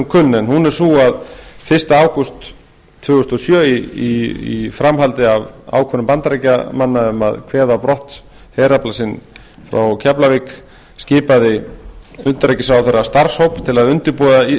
kunn en hún er sú að fyrsta ágúst tvö þúsund og sjö í framhaldi af ákvörðun bandaríkjamanna um að kveða á brott herafla sinn frá keflavík skipaði utanríkisráðherra starfshóp til að undirbúa